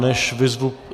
Než vyzvu...